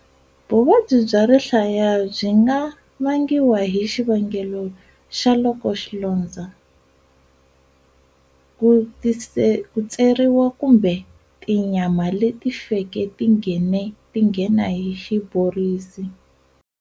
Vuvabyi bya rihlaya byi nga vangiwa hi xivangelo xa loko xilondzo, ku tseriwa kumbe tinyama leti feke ti nghena hi xiborisi.